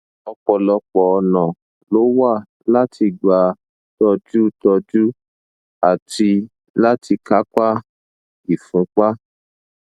ọpọlọpọ ọnà ló wà láti gbà tọjú tọjú àti láti kápá ìfúnpá